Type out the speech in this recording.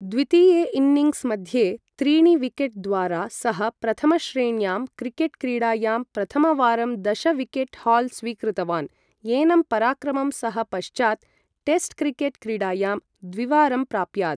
द्वितीये इन्निङ्ग्स् मध्ये त्रीणि विकेट् द्वारा, सः प्रथमश्रेण्यां क्रिकेट् क्रीडायां प्रथमवारं दश विकेट् हाल् स्वीकृतवान्, एनं पराक्रमं सः पश्चात् टेस्ट् क्रिकेट् क्रीडायां द्विवारम् प्राप्यात्।